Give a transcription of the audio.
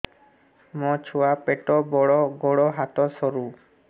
ମୋ ଛୁଆ ପେଟ ବଡ଼ ଗୋଡ଼ ହାତ ସରୁ